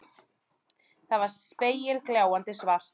Það var spegilgljáandi svart.